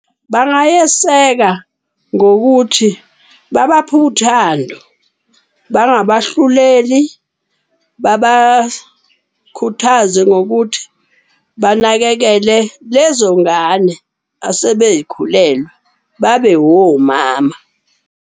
Bangayeseka ngokuthi babaphe uthando, bangabahluleli, babakhuthaze ngokuthi banakekele lezo ngane asebey'khulelwe. Babe womama.